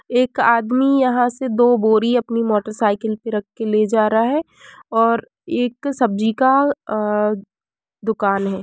एक आदमी यहाँ से दो बोरी अपनी मोटर साईकिल पे रख के ले जा रहा है और एक सब्जी का अ दुकान है।